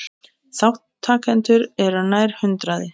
Þátttakendur eru nær hundraði